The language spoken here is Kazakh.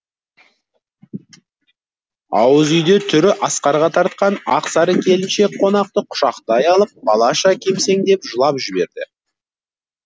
ауыз үйде түрі асқарға тартқан ақ сары келіншек қонақты құшақтай алып балаша кемсеңдеп жылап жіберді